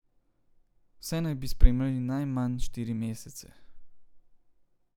Vse naj bi spremljali najmanj štiri mesece.